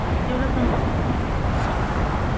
எவ்வளோ சம்பளம் ஆமா